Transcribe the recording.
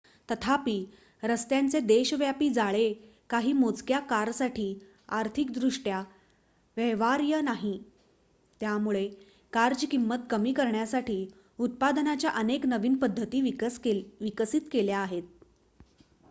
तथापि रस्त्यांचे देशव्यापी जाळे काही मोजक्या कारसाठी आर्थिकदृष्ट्या व्यवहार्य नाही त्यामुळे कारची किंमत कमी करण्यासाठी उत्पादनाच्या अनेक नवीन पद्धती विकसित केल्या आहेत